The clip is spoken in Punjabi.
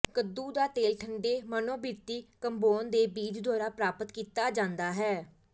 ਕੱਦੂ ਦਾ ਤੇਲ ਠੰਡੇ ਮਨੋਬਿਰਤੀ ਕੰਬੋਨ ਦੇ ਬੀਜ ਦੁਆਰਾ ਪ੍ਰਾਪਤ ਕੀਤਾ ਜਾਂਦਾ ਹੈ